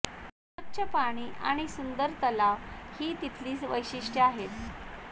स्वच्छ पाणी आणि सुंदर तलाव ही तिथली वैशिष्टय़ आहेत